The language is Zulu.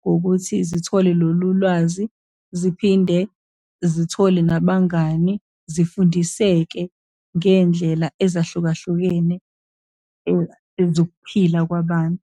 ngokuthi zithole lolu lwazi, ziphinde zithole nabangani, zifundiseke ngey'ndlela ezahlukahlukene zokuphila kwabantu.